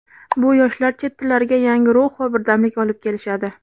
Bu yoshlar chet tillariga yangi ruh va birdamlik olib kelishadi.